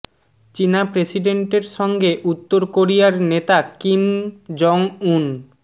চীনা প্রেসিডেন্টের সঙ্গে উত্তর কোরিয়ার নেতা কিম জং উন